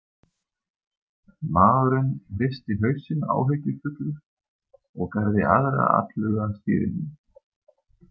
Maðurinn hristi hausinn áhyggjufullur og gerði aðra atlögu að stýrinu.